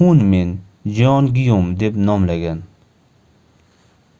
hunmin jeongeum deb nomlagan